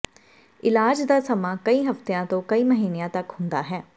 ਇਲਾਜ ਦਾ ਸਮਾਂ ਕਈ ਹਫਤਿਆਂ ਤੋਂ ਕਈ ਮਹੀਨਿਆਂ ਤਕ ਹੁੰਦਾ ਹੈ